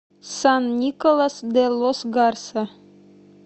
сан николас де лос гарса